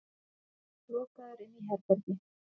Lokaður inní herbergi.